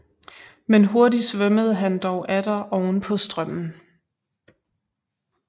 Men hurtig svømmede han dog atter oven på strømmen